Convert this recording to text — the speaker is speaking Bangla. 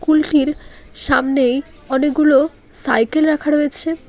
কুলটির সামনেই অনেকগুলো সাইকেল রাখা রয়েছে।